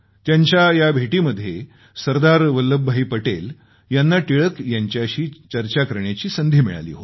त्यांच्या या भेटीमध्ये सरदार वल्लभ भाई पटेल यांना टिळक यांच्याशी चर्चा करण्याची संधी मिळाली होती